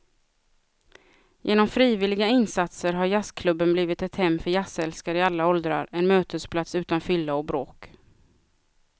Genom frivilliga insatser har jazzklubben blivit ett hem för jazzälskare i alla åldrar, en mötesplats utan fylla och bråk.